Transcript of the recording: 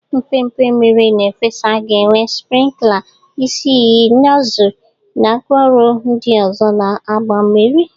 Mpempe mmiri na-efesa ga-enwe sprinkler, isi iyi, nozzles, na ngwaọrụ ndị ọzọ na-agba mmiri